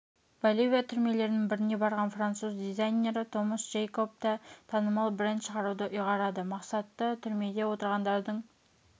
боливия түрмелерінің біріне барған француз дизайнері томас джейкоб та танымал бренд шығаруды ұйғарады мақсаты түрмеде отырғандардың